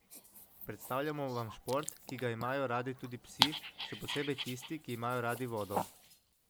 Predstavljamo vam šport, ki ga imajo radi tudi psi, še posebej tisti, ki imajo radi vodo.